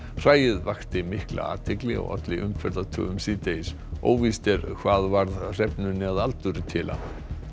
hræið vakti mikla athygli og olli síðdegis óvíst er hvað varð hrefnunni að aldurtila